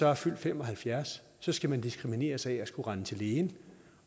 er fyldt fem og halvfjerds år skal man diskrimineres af at skulle rende til lægen